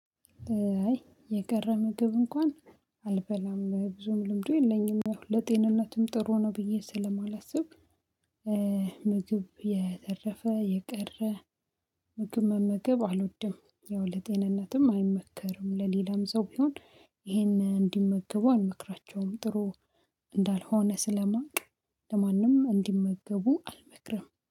አይ የቀረ ምግብ እንኳን አልበላም ብዙም ልምዱ የለኝም ያው ለጤንነትም ጥሩ ነው ብዬ ስለማላስብ። ምግብ የተረፈ የቀረ ምግብ መመገብ አልወድም ያው ለጤንነትም አይመከርም ለሌላም ሰው ቢሆን ይሄንን እንዲመገቡ አንመክራቸውም ጥሩ እንዳልሆነ ስለማውቅ። ለማንም እንዲመገቡ አልመክርም